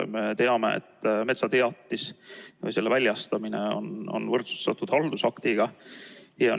Me teame, et metsateatis või selle väljastamine on võrdsustatud haldusaktiga.